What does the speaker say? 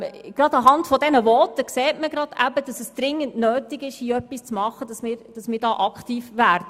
Gerade anhand dieser Voten sieht man, dass es dringend notwendig ist, dass wir hier aktiv werden.